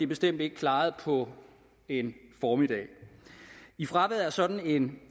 bestemt ikke klaret på en formiddag i fraværet af sådan en